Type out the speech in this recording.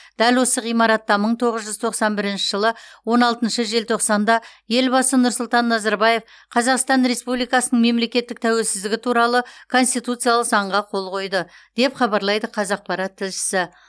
дәл осы ғимаратта мың тоғыз жүз тоқсан бірінші жылы он алтыншы желтоқсанда елбасы нұрсұлтан назарбаев қазақстан республикасының мемлекеттік тәуелсіздігі туралы конституциялық заңға қол қойды деп хабарлайды қазақпарат тілшісі